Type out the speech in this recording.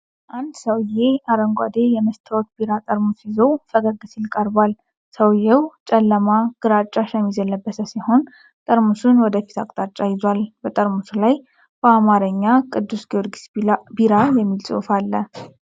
አንድ ሰውዬ አረንጓዴ የመስታወት ቢራ ጠርሙስ ይዞ ፈገግ ሲል ቀርቧል፡፡ ሰውዬው ጨለማ ግራጫ ሸሚዝ የለበሰ ሲሆን ጠርሙሱን ወደፊት አቅጣጫ ይዟል፡፡ በጠርሙሱ ላይ በአማርኛ "ቅዱስ ጊዮርጊስ ቢራ" የሚል ጽሑፍ አለ፡፡